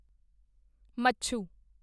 ਮੱਛੂ